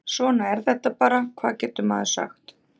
Svona er þetta bara, hvað getur maður sagt?